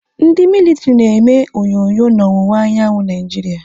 Ndị militiri na eme onyonyo n'owuwa anyanwụ Naịjiria.